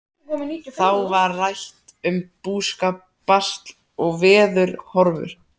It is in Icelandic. Þá var rætt um búskap, basl og veðurhorfur.